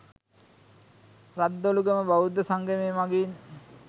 රද්දොළුගම බෞද්ධ සංගමය මඟින්